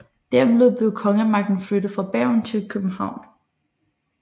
Dermed blev kongemagten flyttet fra Bergen til København